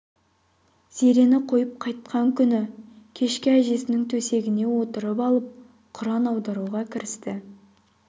зерені қойып қайтқан күні кешке әжесінің төсегіне отырып алып құран аударуға кірісті